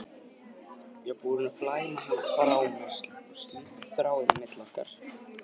Ég var búin að flæma hana frá mér, slíta þráðinn á milli okkar.